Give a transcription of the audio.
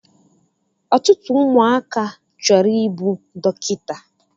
Ọtụtụ ụmụaka chọrọ I bụ dọkịta